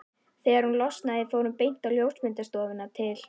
Þegar hún losnaði fór hún beint á ljósmyndastofuna til